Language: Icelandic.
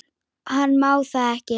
Hann má það ekki.